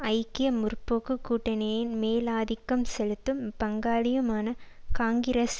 ஐக்கிய முற்போக்கு கூட்டணியின் மேலாதிக்கம் செலுத்தும் பங்காளியுமான காங்கிரஸ்